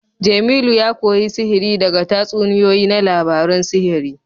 Jemilu ya koyi sihiri daga tatsuniyoyi na labarun sihiri